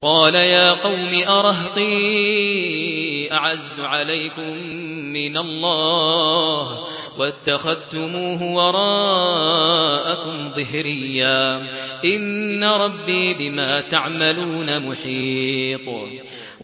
قَالَ يَا قَوْمِ أَرَهْطِي أَعَزُّ عَلَيْكُم مِّنَ اللَّهِ وَاتَّخَذْتُمُوهُ وَرَاءَكُمْ ظِهْرِيًّا ۖ إِنَّ رَبِّي بِمَا تَعْمَلُونَ مُحِيطٌ